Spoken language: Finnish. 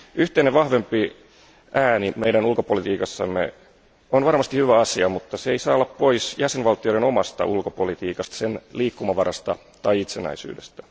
Yhteinen vahvempi ääni meidän ulkopolitiikassamme on varmasti hyvä asia, mutta se ei saa olla pois jäsenvaltioiden omasta ulkopolitiikasta, sen liikkumavarasta tai itsenäisyydestä.